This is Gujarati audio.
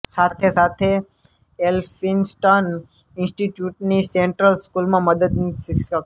સાથે સાથે ઍલ્ફિન્સ્ટન ઇન્સ્ટિટયુટની સેન્ટ્રલ સ્કૂલમાં મદદનીશ શિક્ષક